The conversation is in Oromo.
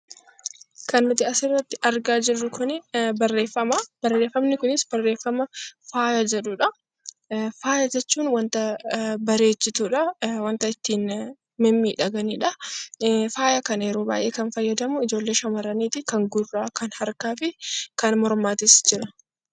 Kan nuti asirratti argaa jirru kuni barreeffama. Barreeffamni kunis barreeffama faaya jedhudha. Faaya jechuun wanta bareechituudha, wanta ittiin mimmiidhaganidha. Faaya kana yeroo baay'ee kan fayyadamu ijoollee shamarraniiti. Kan gurraa, kan harkaa fi kan mormaatis jechuudha.